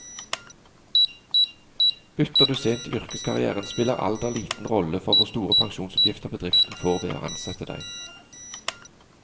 Bytter du sent i yrkeskarrieren, spiller alder liten rolle for hvor store pensjonsutgifter bedriften får ved å ansette deg.